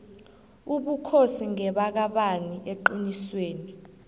ubukhosi ngebakabani eqinisweni